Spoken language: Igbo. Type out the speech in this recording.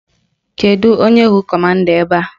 Kedụ onye bụ kọmanda ebe a?